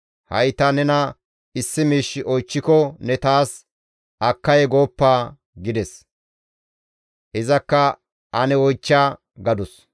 Ha7i ta nena issi miish oychchiko ne taas akkay gooppa» gides. Izakka, «Ane oychcha» gadus.